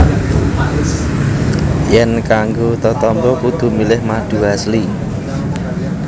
Yèn kanggo tetamba kudu milih madu Asli